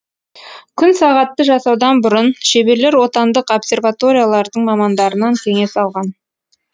күн сағатты жасаудан бұрын шеберлер отандық обсерваториялардың мамандарынан кеңес алған